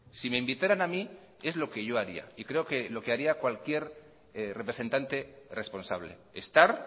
si me invitaran a mí es lo que yo haría y creo que lo que haría cualquier representante responsable estar